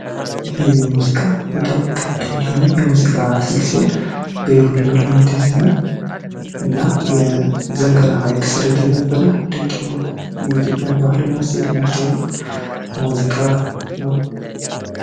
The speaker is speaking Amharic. ይህ የሙዚቃ በጣም ቀደምት የሆነ የሙዚቃ ስል ሲሆን በይሁኔ በላይ የተዘፈነ እና የዘንገናን ሐይቅ ሰር የተዘፈነ ድንቅ የሆነ የኢትዮፒያን ባህል እና ሴት የሚያስተወውቅ ሙዚቃ ነው።